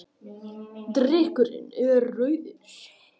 Drykkurinn er rauður.